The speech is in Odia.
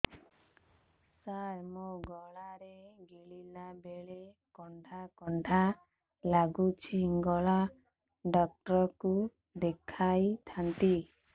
ସାର ମୋ ଗଳା ରେ ଗିଳିଲା ବେଲେ କଣ୍ଟା କଣ୍ଟା ଲାଗୁଛି ଗଳା ଡକ୍ଟର କୁ ଦେଖାଇ ଥାନ୍ତି